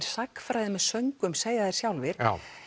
sagnfræði með söngvum segja þeir sjálfir